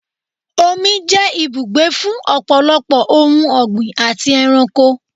Omi jẹ́ ibùgbé fún ọ̀pọ̀lọpọ̀ ohun ọgbín àti ẹranko.